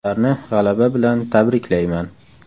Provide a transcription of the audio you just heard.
Ularni g‘alaba bilan tabriklayman.